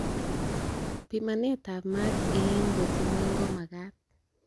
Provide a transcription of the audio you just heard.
Pimanet ab maat en got ngweny ko magat.